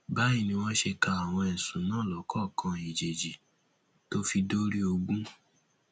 báyìí ni wọn ṣe ka àwọn ẹsùn náà lọkọọkan èjèèjì tó fi dórí ogun